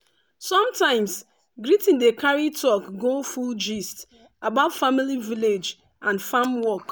sometimes greeting dey carry talk go full gist about family village and farm work.